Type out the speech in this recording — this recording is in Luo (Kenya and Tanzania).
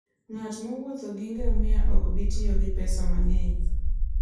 Ng'at mowuotho gi ngamia ok bi tiyo gi pesa mang'eny.